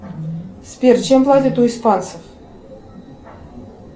сбер чем платят у испанцев